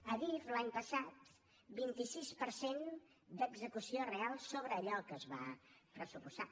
adif l’any passat vint sis per cent d’execució real sobre allò que es va pressupostar